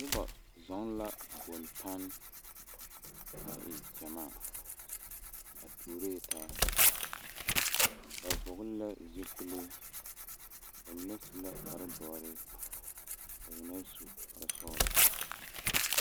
Noba zɔɔ la bontanne a e gyamaa ba tuuree taa ba vɔgle zupili ba mine su la kpare doɔre ba mine su la kpare sɔglɔ.